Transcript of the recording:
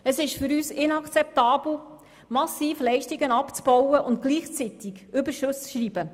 Es ist für uns inakzeptabel, massiv Leistungen abzubauen und gleichzeitig Überschüsse zu schreiben.